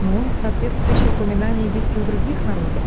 ну и соответствующие упоминание есть и в других народах